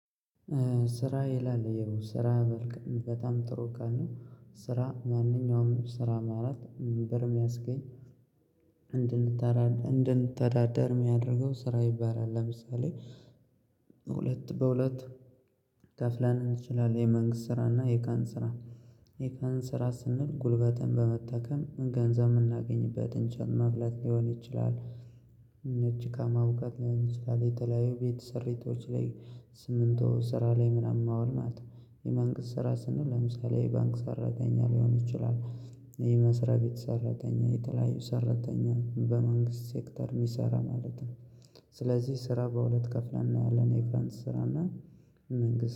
ስራ ይላል የው ስራ መልከ በጣም ጥሩ ቃል ነው ስራ ማንኛውም ስራ ማለት ብር የሚያስገኝ እንድንተዳደር የሚያደርገው ስራ ይባላል። ለምሳሌ ሁለት በሁለት ከፍለን እንችላለን። የመንግስት ስራ እና የቃን ስራ የቀን ስራ ስንል ጉልበትን በመጠቀም ገንዘብ የምናገኝበትን እንጨት መፍለጥ ሊሆን ይችላል። ጭቃ ማቡካት ሊሆን ይችላል። የተለያዩ ቤት ሰሪቶች ላይ ስምንት ስራ ላይ ምናምን አዋል ናት። የመንግስት ስራ ስንል ለምሳሌ የባንክ ሰራተኛ ሊሆን ይችላል። የመስረያ ቤት ሰራተኛ የተለያዩ ሰራተኛ በመንግስት ሴክተር የሚሰራ ማለት ነው። ስለዚህ ስራ በሁለት ከፍለን እናያለን የቀን ስራ እና የመንግስት